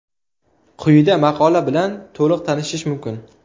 Quyida maqola bilan to‘liq tanishish mumkin.